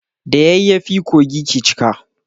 Da yayyafi kogi ke cika.